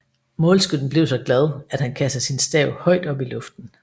Målskytten blev så glad att han kastede sin stav højt op i luften